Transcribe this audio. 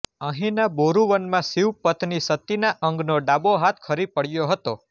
અહીંના બોરુવનમાં શિવ પત્ની સતીના અંગનો ડાબો હાથ ખરી પડ્યો હતો